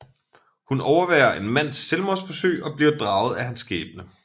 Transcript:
Hun overværer en mands selvmordsforsøg og bliver draget af hans skæbne